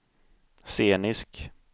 scenisk